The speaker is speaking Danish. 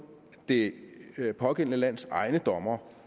det det pågældende lands egne dommere